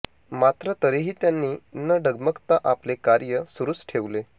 मात्र तरीही त्यांनी न डगमगता आपले कार्य सुरुच ठेवले